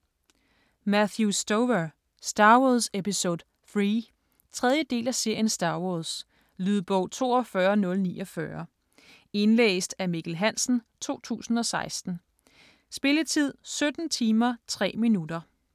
Stover, Matthew: Star Wars episode III 3. del af serien Star wars. Lydbog 42049 Indlæst af Mikkel Hansen, 2016. Spilletid: 17 timer, 3 minutter.